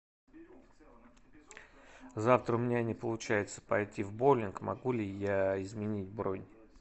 завтра у меня не получается пойти в боулинг могу ли я изменить бронь